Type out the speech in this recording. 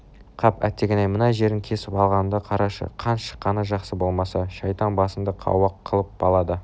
қап әттеген-ай мына жерін кесіп алғанымды қарашы қан шыққаны жақсы болмаса шайтан басыңды қауақ қылып алады